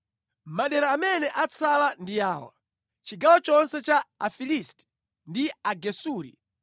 “Madera amene atsala ndi awa: chigawo chonse cha Afilisti ndi Agesuri